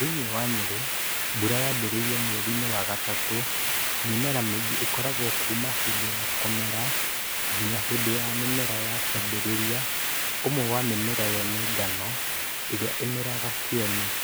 Thĩinĩ wa Nyerĩ, mbura yambĩrĩirie mweri-inĩ wa gatatũ. Mĩmera mĩingĩ ĩkoragwo kuuma hĩndĩ ya kũmera nginya hĩndĩ ya mĩmera ya kĩambĩrĩria. Ũmwe wa mĩmera ĩyo nĩ ngano ĩrĩa ĩmeraga Kieni.